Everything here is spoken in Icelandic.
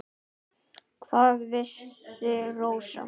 Hvað vissi Rósa.